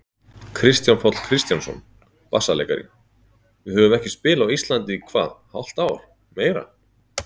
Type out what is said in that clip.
Kristján Páll Kristjánsson, bassaleikari: Við höfum ekki spilað á Íslandi í hvað hálft ár, meira?